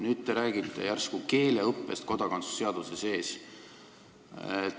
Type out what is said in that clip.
Nüüd, teie räägite järsku keeleõppest kodakondsuse seaduse sees.